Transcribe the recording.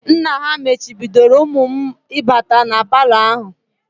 Nna ha machibidoro ụmụ m ịbata na palọ ahụ